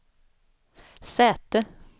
säte